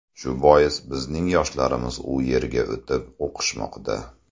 Shu bois bizning yoshlarimiz u yerga o‘tib o‘qishmoqda.